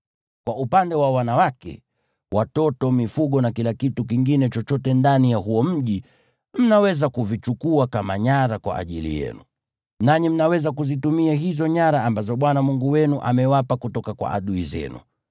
Kwa upande wa wanawake, watoto, mifugo na kila kitu kingine chochote ndani ya huo mji, mnaweza kuvichukua kama nyara kwa ajili yenu. Nanyi mnaweza kuzitumia hizo nyara ambazo Bwana Mungu wenu amewapa kutoka kwa adui zenu.